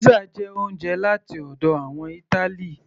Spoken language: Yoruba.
pizza jẹ oúnjẹ láti ọ̀dọ̀ àwọn ìtali